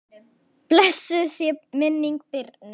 Blessuð sé minning Birnu.